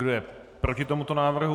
Kdo je proti tomuto návrhu?